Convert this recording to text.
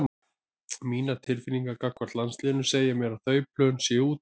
Mínar tilfinningar gagnvart landsliðinu segja mér að þau plön séu úti.